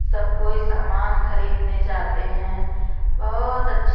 सब कोई सामान खरीदने जाते हैं बहोत अच्छे--